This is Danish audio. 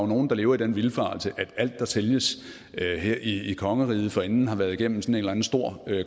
nogle der lever i den vildfarelse at alt der sælges her i kongeriget forinden har været igennem sådan en eller anden stor